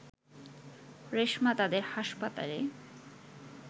রেশমা তাদের হাসপাতালে